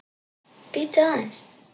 Bíddu aðeins.